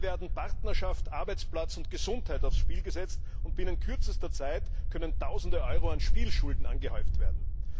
Dabei werden Partnerschaft, Arbeitsplatz und Gesundheit aufs Spiel gesetzt, und binnen kürzester Zeit können Tausende Euro an Spielschulden angehäuft werden.